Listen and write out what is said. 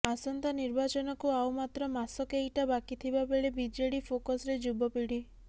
ଆସନ୍ତା ନିର୍ବାଚନକୁ ଆଉ ମାତ୍ର ମାସ କେଇଟା ବାକିଥିବାବେଳେ ବିଜେଡି ଫୋକସରେ ଯୁବପିଢ଼ୀ